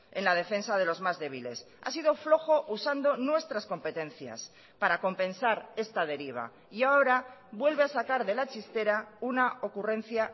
en la defensa de los más débiles ha sido flojo usando nuestras competencias para compensar esta deriva y ahora vuelve a sacar de la chistera una ocurrencia